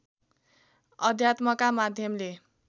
अध्यात्मका माध्यमले